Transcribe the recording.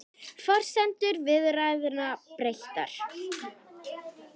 Forsendur viðræðna breyttar